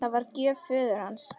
Það var gjöf föður hans.